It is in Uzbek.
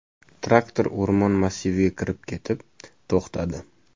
Traktor o‘rmon massiviga kirib ketib, to‘xtadi.